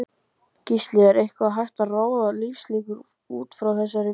Gísli: Er eitthvað hægt að ráða lífslíkur útfrá þessari vigt?